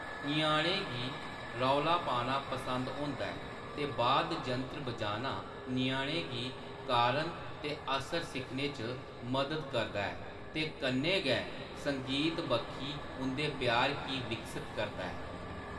ञ्याणें गी रौला पाना पसंद होंदा ऐ, ते वाद्य यंत्र बजाना ञ्याणें गी कारण ते असर सिक्खने च मदद करदा ऐ ते कन्नै गै संगीत बक्खी उंʼदे प्यार गी विकसत करदा ऐ।